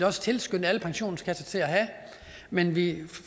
også tilskynde alle pensionskasser til at have men vi